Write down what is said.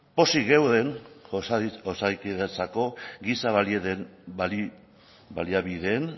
pozik geunden osakidetzako giza baliabideen